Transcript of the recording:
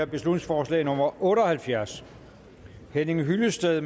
beslutningsforslag nummer otte og halvfjerds henning hyllested